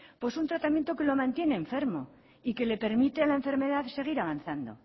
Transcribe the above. pues un tratamiento que lo mantiene enfermo y que le permite a la enfermedad seguir avanzando